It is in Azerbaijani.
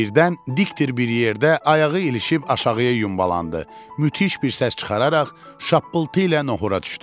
Birdən dikdir bir yerdə ayağı ilişib aşağıya yumbalandı, müthiş bir səs çıxararaq şappıltı ilə nohura düşdü.